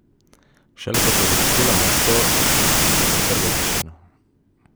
Šele ko sva zapustila mesto, je pretrgal tišino.